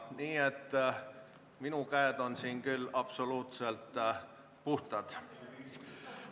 Nii et minu käed on siin küll absoluutselt puhtad.